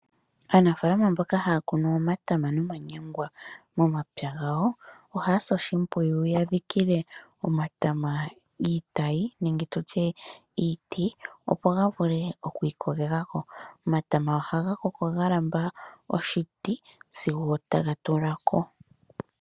Aanafalama mboka haya kunu omatama nomanyangwa momapya gawo, ohaya si oshimpwiyu ya dhikile omatama iitayi, nenge tutye iiti, opo ga vule okwi ikolela ko. Omatama ohaga koko ga lamba oshiti, sigo taga tulako.